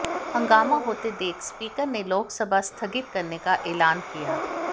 हंगामा होते देख स्पीकर ने लोकसभा स्थगित करने का ऐलान किया